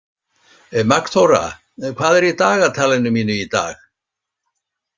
Magnþóra, hvað er í dagatalinu mínu í dag?